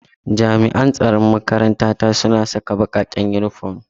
Jami'an tsaron makaranta ta suna saka bakaken uniform.